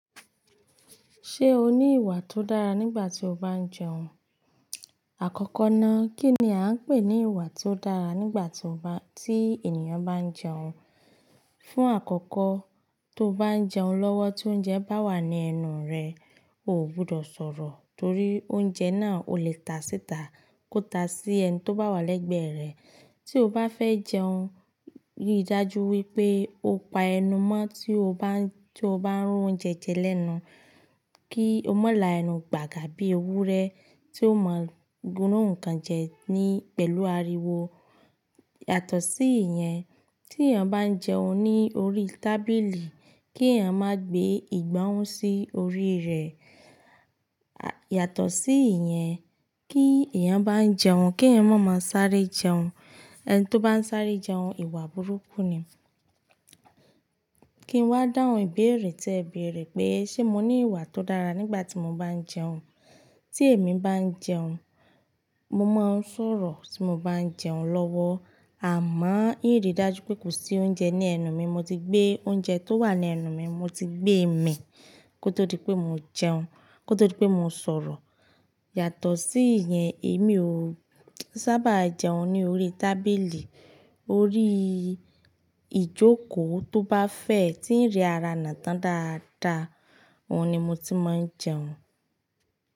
Ṣé o ní ìwà tó dára nígbà tí o bá ń jẹun? Àkọ́kọ́ náà, kí ni a ń pè ní ìwà ti ó dára nígbà tí ènìyàn bá ń jẹun? Fún àkọ́kọ́, tó bá ń jẹun lọ́wọ́ tí oúnjẹ bá wà ní ẹnu rẹ, o ò gbudọ̀ sọ̀rọ̀ torí oúnjẹ náà ò lè ta síta kó ta sí ẹni tó bá wà lẹ́gbẹ̀ẹ́ rẹ. Tí o bá fẹ́ jẹun, rí i dájú wípé o pa ẹnu mọ́ tí o bá ń rún oúnjẹ jẹ lẹ́nu. Kí o má la ẹnu gbàgà bí ewúrẹ́ tí ó máa run nǹkan jẹ pẹ̀lú ariwo. Yàtọ̀ sí ìyẹn, tí èèyàn bá ń jẹun ní orí tábìlì, kí èèyàn má gbé ìgbá hun sí orí rẹ̀. Yàtọ̀ sí ìyẹn, tí èèyàn bá ń jẹun, kí èèyàn má má sáré jẹun. Ẹni to bá ń sáré jẹun, ìwà burúkú ni. Kí n wá dáhùn ìbéèrè tí ẹ béèrè pé ṣe mo ní ìwà tó dára nígbà tí mo bá ń jẹun. Tí èmi bá ń jẹun, mo má ń sọ̀rọ̀ tí mo bá ń jẹun lọ́wọ́. Àmọ́ ìnri dájú pé kò sí oúnjẹ ní ẹnu mi, mo ti gbé oúnjẹ tó wà ní ẹnu mi, mo ti gbé mi kó tó di pé mo jẹun, kó tó dí pé mo sọ̀rọ̀. Yàtọ̀ sí ìyẹn, èmi ò sábà jẹun ní orí tábìlì. Orí ìjókòó tó bá fẹ̀, tí ń ri ara nà tan dáadáa, òhun ni mo ti má ń jẹun.